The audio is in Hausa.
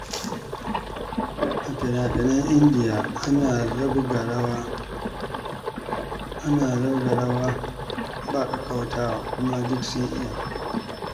A finafinan Indiyawa, ana zabga rawa ba ƙaƙƙautawa, kuma duk sun iya.